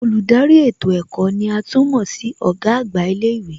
Olùdarí ètò ẹ̀kọ́ ní à tún mọ̀ sí Ọ̀gá àgbà ilé ìwé